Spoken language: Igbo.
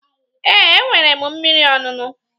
Ee, enwere m mmiri ọṅụṅụ.